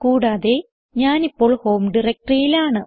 കൂടാതെ ഞാനിപ്പോൾ ഹോം Directoryയിൽ ആണ്